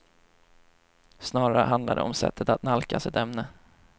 Snarare handlar det om sättet att nalkas ett ämne.